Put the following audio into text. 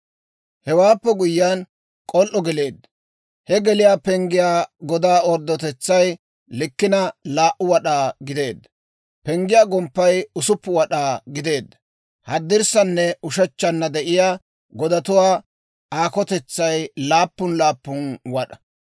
Hewaappe guyyiyaan, k'ol"o geleedda. He geliyaa penggiyaa godaa orddotetsaa likkina 2 wad'aa gideedda. Penggiyaa gomppay 6 wad'aa gideedda; haddirssananne ushechchanna de'iyaa godatuwaa aakotetsay laappun laappun wad'aa.